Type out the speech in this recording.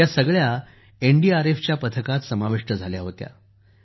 ह्या सगळ्या एनडीआरएफच्या पथकात समाविष्ट झाल्या होत्या